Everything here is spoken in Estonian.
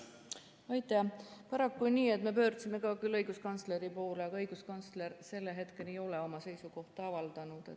Paraku on nii, et me pöördusime küll õiguskantsleri poole, aga õiguskantsler selle hetkeni ei ole oma seisukohta avaldanud.